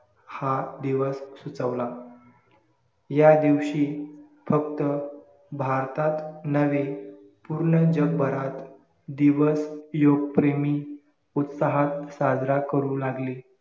हा दिवस सुचवला या दिवशी फक्त भारतात नव्हे पूर्ण जगभरात दिवस युगप्रेमी उत्सहात साजरा करू लागले